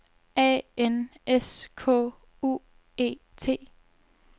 A N S K U E T